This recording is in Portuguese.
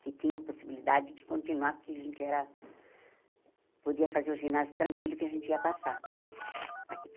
Que tinha a possibilidade de continuar, porque a gente era... Podia fazer o ginásio tranquilo que a gente ia passar.